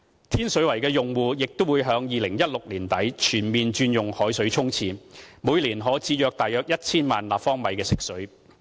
天水圍的用戶亦已在2016年年底全面轉用海水沖廁，每年可節省約 1,000 萬立方米食水。